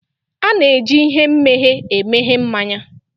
A na-eji ihe mmeghe emeghe mmanya